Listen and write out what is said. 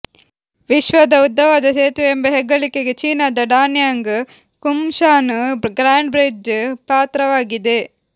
ವಿಶ್ವದ ಉದ್ದವಾದ ಸೇತುವೆ ಎಂಬ ಹೆಗ್ಗಳಿಕೆಗೆ ಚೀನಾದ ಡಾನ್ಯಾಂಗ್ ಕುಂಶಾನ್ ಗ್ರಾಂಡ್ ಬ್ರಿಡ್ಜ್ ಪಾತ್ರವಾಗಿದೆ